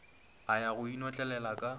a ya go inotlelela ka